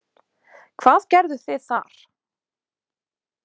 Hvað gerðuð þið þar?